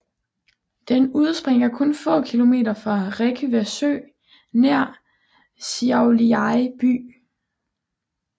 Den udspringer kun få kilometer fra Rėkyva sø nær Šiauliai by